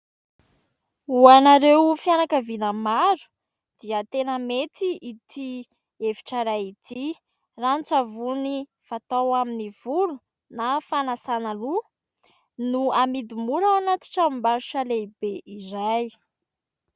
Ho anareo fianakaviana maro dia tena mety ity hevitra iray ity. Rano-tsavony fatao amin'ny volo na fanasana loha no amidy mora ao anaty tranombarotra lehibe iray.